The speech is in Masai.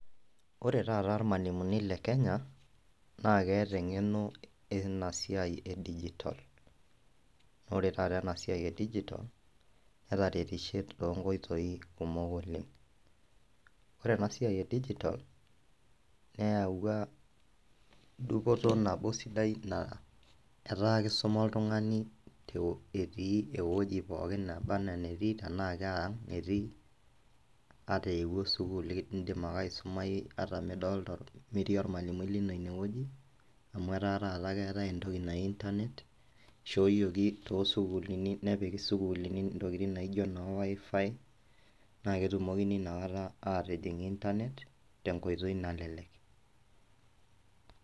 Ore taata irmwalimuni le kenya naa keeta eng'eno ena siai e digital [c]. Ore taata ena siai e digital netaretishe toonkoitoi kumok oleng . Ore ena siai e digital neyawua dupoto nabo sidai na etaa kisuma oltungani etii ewueji pookin naba anaa enetii , tenaa keang etii , ata eewuo sukuul indim ake aisumayu ata midolta , ata metii ormwalimui lino ine wueji . Amu etaa taata keetae entoki naji internet , ishooyioki toosukuulini , nepiki sukuulini ntokitin naijo noo wifi naa ketumokini inakata atijing internet tenkoitoi nalelek.